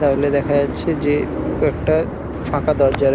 তাহলে দেখা যেচ্ছা যে কয়েকটা ফাঁকা দরজা রয়ে--